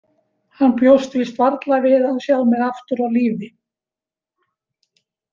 Hann bjóst víst varla við að sjá mig aftur á lífi.